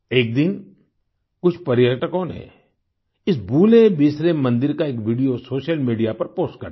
एक दिन कुछ पर्यटकों ने इस भूलेबिसरे मंदिर का एक वीडियो सोशल मीडिया पर पोस्ट कर दिया